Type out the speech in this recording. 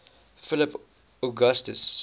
philip augustus